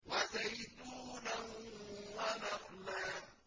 وَزَيْتُونًا وَنَخْلًا